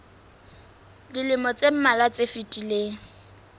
dilemong tse mmalwa tse fetileng